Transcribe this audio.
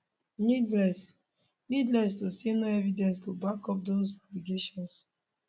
needless needless to say no evidence to back up dose allegations